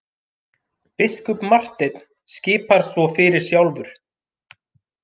Biskup Marteinn skipar svo fyrir sjálfur!